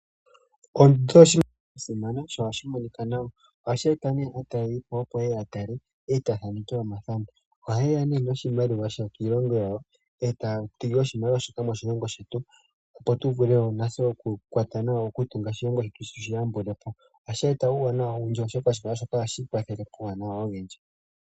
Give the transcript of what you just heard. Oondundu odho oshinima sha simana dho ohadhi monika nawa. Ohadhi eta aatalelipo, opo ye ye ya tale e taya thaneke omathano. Ohaye ya noshimaliwa shokoshilongo shawo e taya thigi oshimaliwa shoka moshilongo shetu, opo tu vule wo natse okutunga oshilongo shetu tu shi yambule po. ohashi eta uuwanawa owindji, oshoka oshimaliwa shoka ohashi kwathele noonkondo.